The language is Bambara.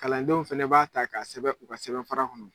Kalandenw fɛnɛ b'a ta k'a sɛbɛn u ka sɛbɛnfara kɔnɔ.